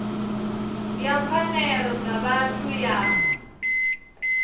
ya pfanelo dza vhathu ya